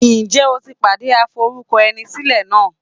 Ǹjẹ́ o ti pàdé aforúkọẹnisílẹ̀ náà?